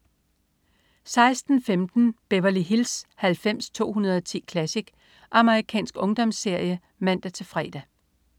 16.15 Beverly Hills 90210 Classic. amerikansk ungdomsserie (man-fre)